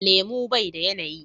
Lemu bai da yanayi.